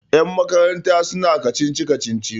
yanmakaranta suna kacici-kacici